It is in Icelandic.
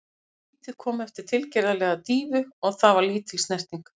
Vítið kom eftir tilgerðarlega dýfu og það var lítil snerting.